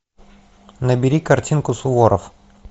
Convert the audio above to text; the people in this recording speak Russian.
набери картинку суворов